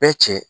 Bɛɛ cɛ